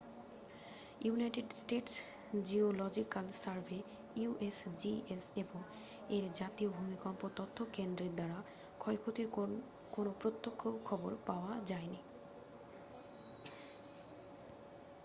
United States Geological Survey usgs এবং এর জাতীয় ভূমিকম্প তথ্য কেন্দ্রের দ্বারা ক্ষয়ক্ষতির কোনও প্রত্যক্ষ খবর পাওয়া যায়নি।